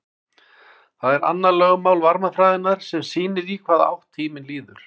það er annað lögmál varmafræðinnar sem sýnir í hvaða átt tíminn líður